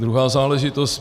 Druhá záležitost.